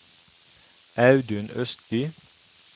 Audun Østby